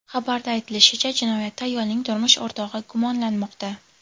Xabarda aytilishicha, jinoyatda ayolning turmush o‘rtog‘i gumonlanmoqda.